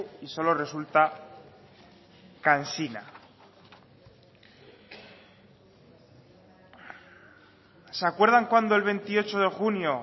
y solo resulta cansina se acuerdan cuando el veintiocho de junio